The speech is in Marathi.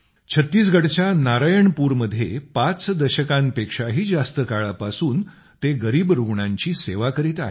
छत्तीसगडच्या नारायणपूरमध्ये पाच दशकांपेक्षाही जास्त काळापासून ते गरीब रूग्णांची सेवा करीत आहेत